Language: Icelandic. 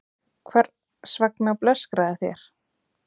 Hvers vegna blöskraði þér?